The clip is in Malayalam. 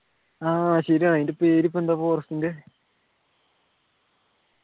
ആഹ് ശരിയാ അതിൻ്റെ പേരിപ്പോ എന്താ forest ൻ്റെ